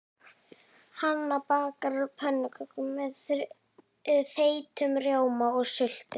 Hanna bakar pönnukökur með þeyttum rjóma og sultu.